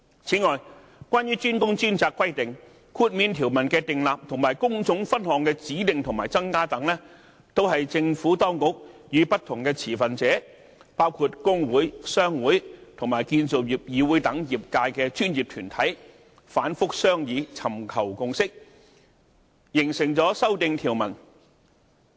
此外，關於"專工專責"規定，豁免條文的訂立和工種分項的指定和增加等，也是政府當局和不同持份者，包括工會、商會和建造業議會等業界專業團體反覆商議、尋求共識、形成修訂條文。